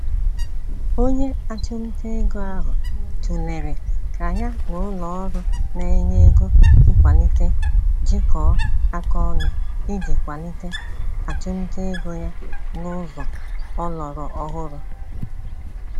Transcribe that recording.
Onye achumtaego ahụ tụlere ka ya n'ụlọọrụ na-enye ego nkwalite jikọọ aka ọnụ, iji kwalite achumtaego ya nụzọ ọlọrọ ọhụrụ.